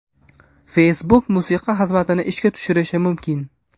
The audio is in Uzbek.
Facebook musiqa xizmatini ishga tushirishi mumkin.